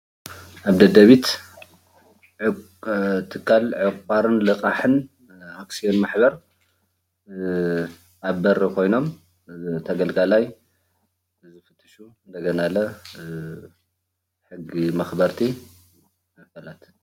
ኣብ ደደቢት ትካል ዕቋርን ልቃሕን ኣክስዮን ማሕበር ኣብ በሪ ኾይኖም ተገልጋላይ ይፍትሹ እንደገና ለ ሕጊ መኽበርቲ ኣካላት።